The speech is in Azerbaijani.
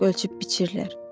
Ancaq ölçüb-biçirlər.